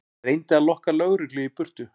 Reyndi að lokka lögreglu í burtu